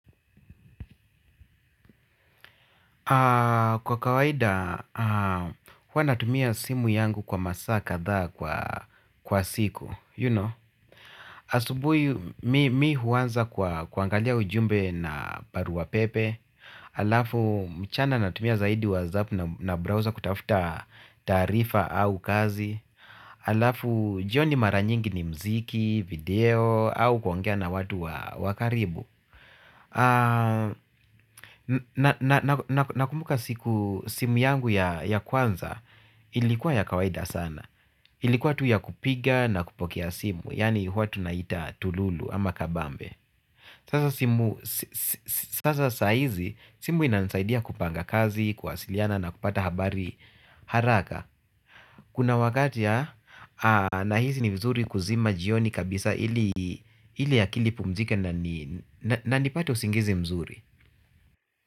Kwa kawaida, huwa natumia simu yangu kwa masaa kadhaa kwa siku you know. Asubuhi mimi huanza kwa kuangalia ujumbe na barua pepe halafu mchana natumia zaidi WhatsApp na browser kutafuta taarifa au kazi. Halafu jioni mara nyingi ni muziki, video au kuongea na watu wa karibu. Nakumbuka siku simu yangu ya kwanza ilikuwa ya kawaida sana. Ilikuwa tu ya kupiga na kupokea simu yaani huwa tunaita tululu ama kabambe sasa simu sasa saa hizi simu inanisaidia kupanga kazi, kuwasiliana na kupata habari haraka. Kuna wakati nahisi ni vizuri kuzima jioni kabisa ili akili ipumzike na nipate usingizi mzuri.